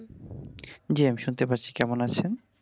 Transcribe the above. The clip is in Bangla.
জ্বী, আমি শুনতে পারছি কেমন আছেন?